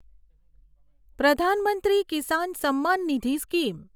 Pradhan Mantri Kisan Samman Nidhi scheme